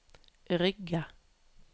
Rygge